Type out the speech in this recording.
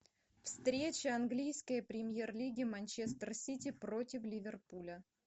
встреча английской премьер лиги манчестер сити против ливерпуля